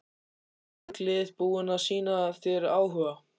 Eru mörg lið búin að sýna þér áhuga?